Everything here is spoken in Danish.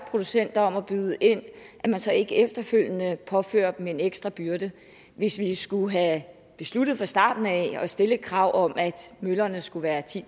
producenter om at byde ind at man så ikke efterfølgende påfører dem en ekstra byrde hvis vi skulle have besluttet fra starten af at stille et krav om at møllerne skulle være ti